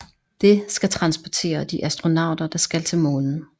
Det skal transportere de astronauter der skal til Månen